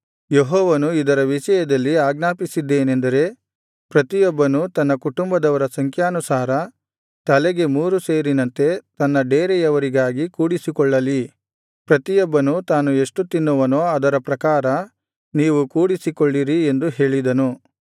ಯೆಹೋವನು ಇದರ ವಿಷಯದಲ್ಲಿ ಆಜ್ಞಾಪಿಸಿದ್ದೇನೆಂದರೆ ಪ್ರತಿಯೊಬ್ಬನು ತನ್ನ ಕುಟುಂಬದವರ ಸಂಖ್ಯಾನುಸಾರ ತಲೆಗೆ ಮೂರು ಸೇರಿನಂತೆ ತನ್ನ ಡೇರೆಯವರಿಗಾಗಿ ಕೂಡಿಸಿಕೊಳ್ಳಲಿ ಪ್ರತಿಯೊಬ್ಬನು ತಾನು ಎಷ್ಟು ತಿನ್ನುವನೋ ಅದರ ಪ್ರಾಕಾರ ನೀವು ಕೂಡಿಸಿಕೊಳ್ಳಿರಿ ಎಂದು ಹೇಳಿದನು